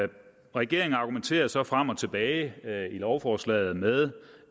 regeringen argumenterer så frem og tilbage i lovforslaget med